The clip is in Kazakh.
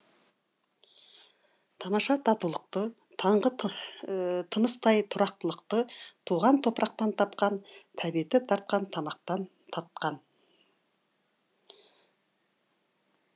тамаша татулықты таңғы тыныстай тұрақтылықты туған топырақтан тапқан тәбеті тартқан тамақтан татқан